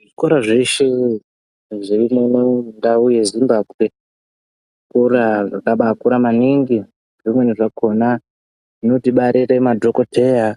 Zvikora zveshe zviri muno mundau yeZimbabwe zvikora zvakabaakura maningi zvimweni zvakona zvinotibarire madhokoteya,